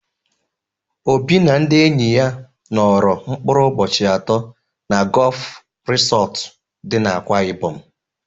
Obi na ndị enyi ya nọrọ mkpụrụ ụbọchị atọ na Gọọf Risọtụ dị n'Akwa Ịbọm.